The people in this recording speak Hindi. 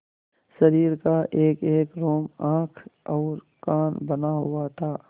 शरीर का एकएक रोम आँख और कान बना हुआ था